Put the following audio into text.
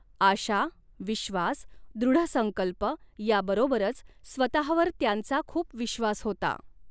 आशा, विश्वास, दृढसंकल्प, याबरोबरच स्वतःवर त्यांचा खूप विश्वास होता.